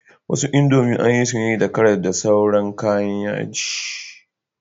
Wasu indomie anyi su da karas da sauran kayan yaji